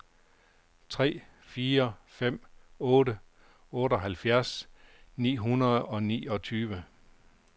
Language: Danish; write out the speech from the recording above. tre fire fem otte otteoghalvfjerds ni hundrede og niogtyve